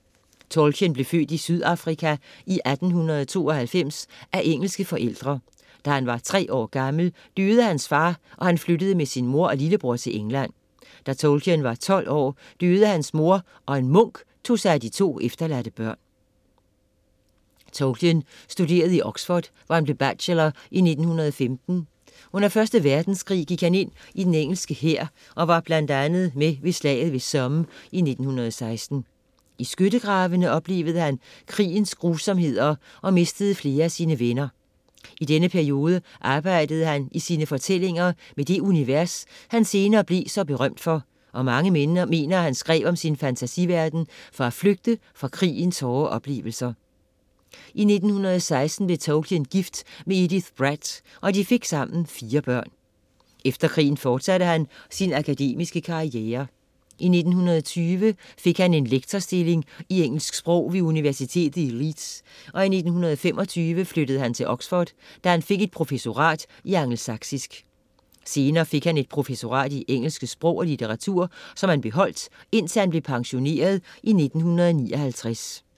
Tolkien blev født Sydafrika i 1892 af engelske forældre. Da han var tre år gammel, døde hans far og han flyttede med sin mor og lillebror til England. Da Tolkien var tolv år døde hans mor og en munk tog sig af de to efterladte børn. Tolkien studerede i Oxford, hvor han blev bachelor i 1915. Under 1. verdenskrig gik han ind i den engelske hær og var blandt andet med ved Slaget ved Somme i 1916. I skyttegravene oplevede han krigens grusomheder og han mistede flere af sine venner. I denne periode arbejdede han i sine fortællinger med det univers, han senere blev så berømt for og mange mener, at han skrev om sin fantasiverden for at flygte fra krigens hårde oplevelser. I 1916 blev Tolkien gift med Edith Bratt og de fik sammen fire børn. Efter krigen fortsatte han sin akademiske karriere. I 1920 fik han en lektorstilling i engelsk sprog ved Universitetet i Leeds og i 1925 flyttede han til Oxford, da han fik et professorat i angelsaksisk. Senere fik han et professorat i engelsk sprog og litteratur, som han beholdt indtil han blev pensioneret i 1959.